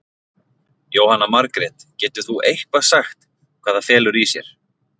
Jóhanna Margrét: Getur þú eitthvað sagt hvað það felur í sér?